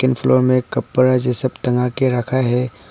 मे एक कपड़ा जैसा टंगा के रखा है।